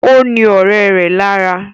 Ó ní ọ̀rẹ́ rẹ̀ lára